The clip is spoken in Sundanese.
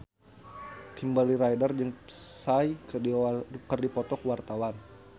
Kimberly Ryder jeung Psy keur dipoto ku wartawan